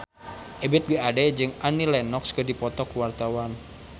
Ebith G. Ade jeung Annie Lenox keur dipoto ku wartawan